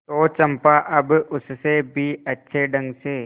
तो चंपा अब उससे भी अच्छे ढंग से